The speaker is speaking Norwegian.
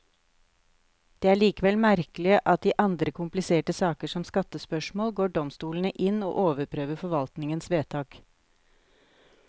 Det er likevel merkelig at i andre kompliserte saker, som skattespørsmål, går domstolene inn og overprøver forvaltningens vedtak.